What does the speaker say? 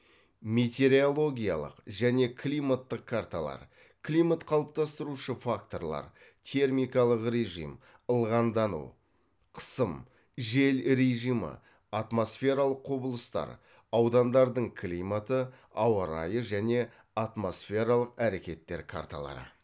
метеорологиялық және климаттық карталар климат қалыптастырушы факторлар термикалық режим ылғалдану қысым жел режимі атмосфералық құбылыстар аудандардың климаты ауа райы және атмосфералық әрекеттер карталары